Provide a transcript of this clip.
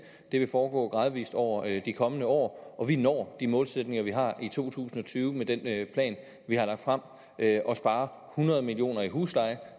det vil foregå gradvis over de kommende år og vi når de målsætninger vi har i to tusind og tyve med den plan vi har lagt frem og sparer hundrede million kroner i husleje